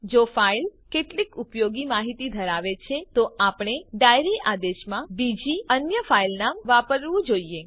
જો ફાઈલ કેટલીક ઉપયોગી માહિતી ધરાવે છે તો આપણે ડાયરી આદેશમાં બીજી અન્ય ફાઈલ નામ વાપરવું જોઈએ